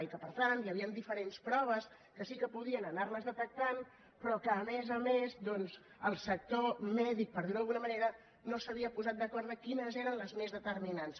i que per tant hi havien diferents proves que sí que podien anar les detectant però que a més a més doncs el sector mèdic per dir ho d’alguna manera no s’havia posat d’acord en quines eren les més determinants